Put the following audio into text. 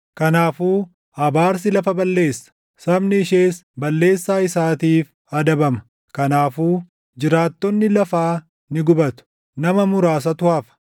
Kanaafuu abaarsi lafa balleessa; sabni ishees balleessaa isaatiif adabama. Kanaafuu jiraattonni lafaa ni gubatu; nama muraasatu hafa.